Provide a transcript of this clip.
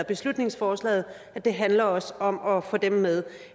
beslutningsforslaget og det handler også om at få dem med